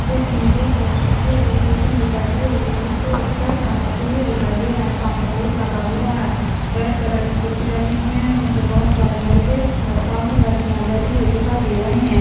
इस इमेज में मुझे एक कोचिग दिखाई दे रही है जिस पर एक सर पढ़ाते हुए दिखाई दे रहा है। सामने बोर्ड लगा हुआ है रेड कलर की कुर्सी रखे हुए है उन पर बहुत सारे लड़के और सामने लड़किया बैठी हुई दिखाई दे रहे है